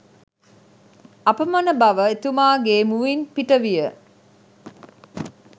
අපමණ බව එතුමාගේ මුවින් පිට විය